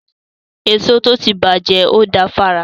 Èso tó ti bàjẹ́ ò da fára.